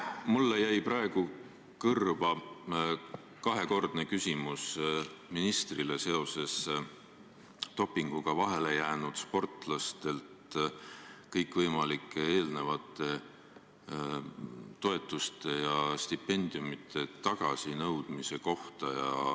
Mulle jäid kõrva kaks küsimust ministrile seoses dopinguga vahele jäänud sportlastelt kõikvõimalike toetuste ja stipendiumide tagasinõudmisega.